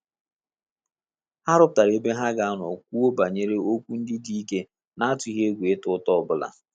Ha rụpụtara ebe ha ga anọ kwuo banyere okwu ndị dị ike na atughi egwu ịta uta obula